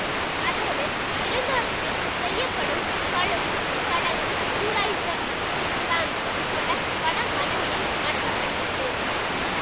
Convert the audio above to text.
அதோடு இறந்தோருக்கு செய்யப்படும் கழுவும் சடங்கும் ஜூடாயிஸம் இஸ்லாம் உட்பட பல மதங்களில் நடத்த படுகிறது